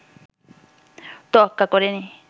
তোয়াক্কা করেনি